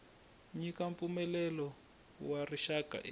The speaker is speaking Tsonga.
nyika mpfumelelo wa rixaka eka